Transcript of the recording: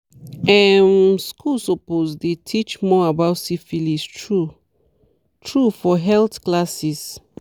um schools suppose dey teach more about syphilis true true for health classes